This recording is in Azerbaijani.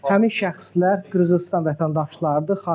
Həmin şəxslər Qırğızıstan vətəndaşlarıdır.